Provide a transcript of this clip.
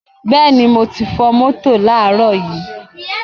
Beeni moti fo moto laaro yi